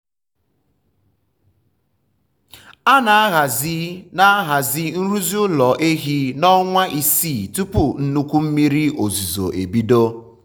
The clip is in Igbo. um a na-ahazi na-ahazi nrụzi ụlọ ehi na ọnwa isii tupu nnukwu mmiri um ozuzo ebido.